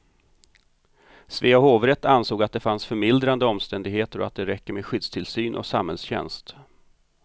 Svea hovrätt ansåg att det fanns förmildrande omständigheter och att det räcker med skyddstillsyn och samhällstjänst.